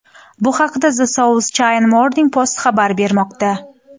Bu haqda The South China Morning Post xabar bermoqda .